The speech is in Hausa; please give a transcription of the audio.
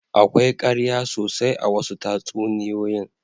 Akwai ƙarya sosai a wasu tatsuniyoyin.